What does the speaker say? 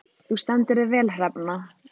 Þú stendur þig vel, Hrefna!